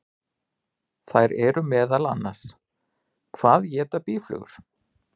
Þær eru meðal annars: Hvað éta býflugur?